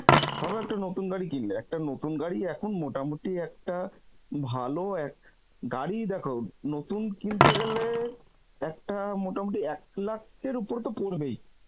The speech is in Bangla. ভাবো একটা নতুন গাড়ি কিনলে একটা নতুন গাড়ি এখন মোটামুটি একটা, ভালো এক, গাড়ি দেখো নতুন কিনতে গেলে একটা মোটামুটি এক lakh এর উপরে তো পরবেই